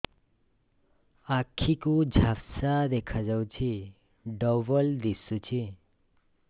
ଆଖି କୁ ଝାପ୍ସା ଦେଖାଯାଉଛି ଡବଳ ଦିଶୁଚି